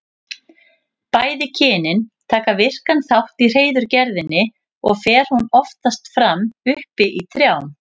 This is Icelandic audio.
Bæði kynin taka virkan þátt í hreiðurgerðinni og fer hún oftast fram uppi í trjám.